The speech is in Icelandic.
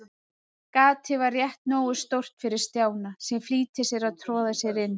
Gatið var rétt nógu stórt fyrir Stjána, sem flýtti sér að troða sér inn.